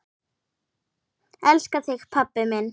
Elska þig pabbi minn.